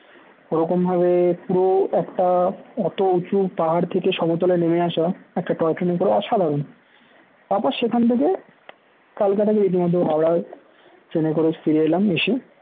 ও রকম ভাবে পুরো একটা অতো উঁচু পাহাড় থেকে সমতলে নেমে আসা একটা toy ট্রেনে করে অসাধারণ তার পর সেখান থেকে কালকা থেকে রীতিমতো হাওড়ায় ট্রেনে করে ফিরে এলাম এসে